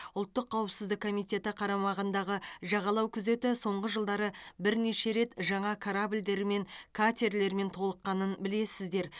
ұлттық қауіпсіздік комитеті қарамағындағы жағалау күзеті соңғы жылдары бірнеше рет жаңа корабльдер мен катерлермен толыққанын білесіздер